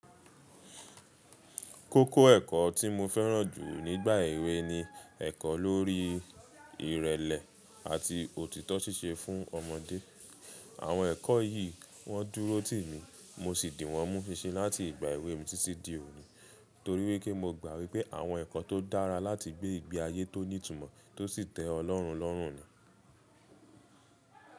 Kókó ẹ̀kọ́ tí mo fẹ́ràn jù nígbà èwe ni ẹ̀kọ́ lórí ìrẹlẹ àti òtítọ́ ṣíṣe fún ọmọdé. Àwọn ẹ̀kọ́ yìí wọ́n dúrótì mí, mo sì dìwọ́n mú ṣinṣin láti ìgbà èwe mi títí di òní torí wípé mo gbà wípé àwọn ẹ̀kọ́ tó dára láti gbé ìgbé ayé tó ní ìtumọ̀ tó sì tẹ́ ọlọ́rún lọ́rún ni.